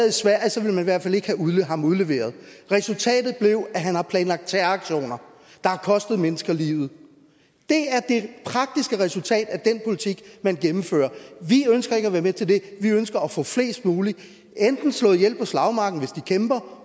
havde han været fald ikke have ham udleveret resultatet er at han har planlagt terroraktioner der har kostet mennesker livet det er det praktiske resultat af den politik man gennemfører vi ønsker ikke at være med til det vi ønsker at få flest muligt enten slået ihjel på slagmarken hvis de kæmper